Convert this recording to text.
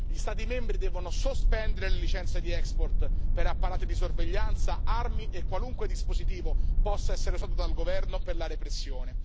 Gli Stati membri devono sospendere le licenze di export per apparati di sorveglianza, armi e qualunque dispositivo possa essere usato dal governo per la repressione.